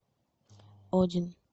один